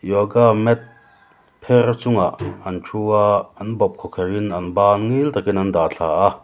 yoga mat pher chungah an thu a an bawp khawkherh in an ban ngil takin an dah thla a.